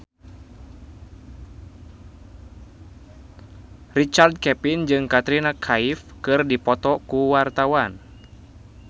Richard Kevin jeung Katrina Kaif keur dipoto ku wartawan